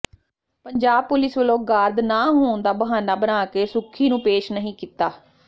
Punjab police ਵਲੋਂ guard ਨਾ ਹੋਣ ਦਾ ਬਹਾਨਾ ਬਣਾ ਕੇ ਸੁੱਖੀ ਨੂੰ ਪੇਸ਼ ਨਹੀ ਕੀਤਾ